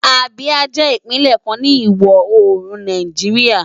Abia jè Ipinlè kán ni iwò órún Náijiriá